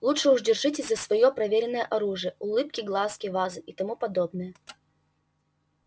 лучше уж держитесь за своё проверенное оружие улыбки глазки вазы и тому подобное